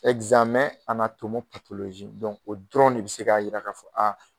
o dɔrɔn de bɛ se k'a yira k'a fɔ a.